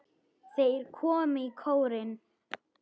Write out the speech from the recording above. Þeir komu í kórinn.